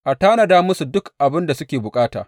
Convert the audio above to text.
A tanada musu duk abin da suke bukata.